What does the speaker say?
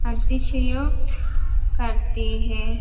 अतिश्योक करते है।